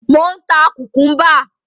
Mò ń ta kùkúḿbà.